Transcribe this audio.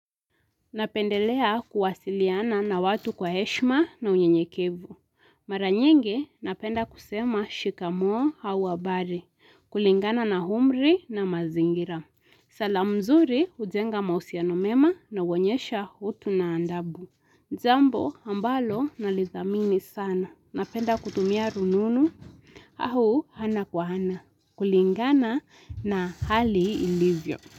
Napendelea kuwasiliana na watu kwa heshima na unye nyekevu. Maranyingi napenda kusema shikamoo au habari. Kulingana na humri na mazingira. Salamu mzurih ujenga mahousiana mema na huonyesha utu na adabu. Jambo ambalo na lithamini sana. Napenda kutumia rununu. Au hana kwa hana. Kulingana na hali ilivyo.